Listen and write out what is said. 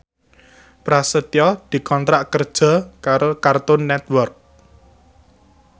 Prasetyo dikontrak kerja karo Cartoon Network